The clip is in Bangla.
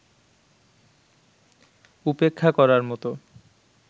উপেক্ষা করার মতো